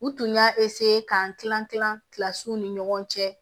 U tun y'a k'an kilan kilan kila kilasi ni ɲɔgɔn cɛ